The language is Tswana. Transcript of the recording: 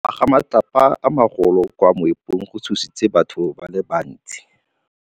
Go wa ga matlapa a magolo ko moepong go tshositse batho ba le bantsi.